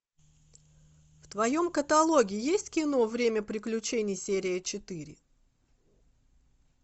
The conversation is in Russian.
в твоем каталоге есть кино время приключений серия четыре